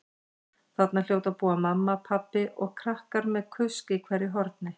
Þarna hljóta að búa mamma, pabbi og krakkar með kusk í hverju horni.